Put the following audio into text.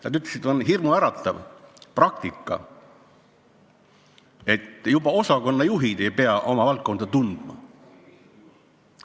Nad ütlesid, et see on hirmuäratav praktika, et ka osakonnajuhid ei pea oma valdkonda tundma.